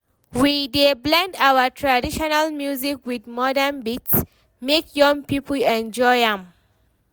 We dey blend our traditional music wit modern beats, make young pipo enjoy am.